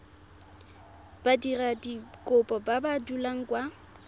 badiradikopo ba ba dulang kwa